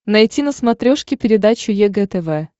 найти на смотрешке передачу егэ тв